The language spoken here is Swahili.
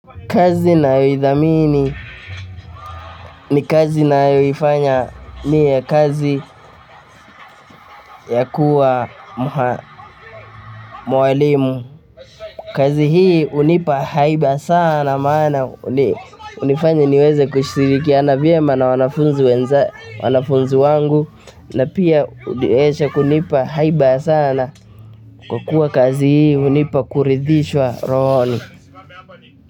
Kazi nayoidhamini ni kazi nayoifanya ni kazi ya kuwa mwalimu kazi hii hunipa haiba sana maana hunifanya niweze kushiriki. Iana vyema na wanafunzi wangu na pia huweza kunipa haia sana kwa kuwa kazi hii hunipa kuridhishwa rohoni.